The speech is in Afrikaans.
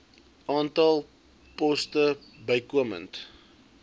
aantal poste bykomend